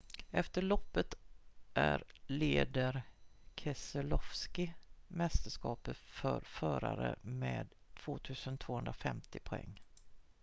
efter loppet är leder keselowski mästerskapet för förare med 2 250 poäng